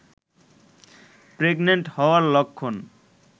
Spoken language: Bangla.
প্রেগন্যান্ট হওয়ার লক্ষণ